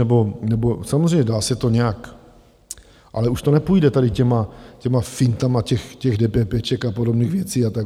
Nebo samozřejmě dá se to nějak, ale už to nepůjde tady těmi fintami těch dépépéček a podobných věcí a tak.